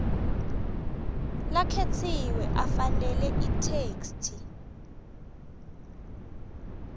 lakhetsiwe afanele itheksthi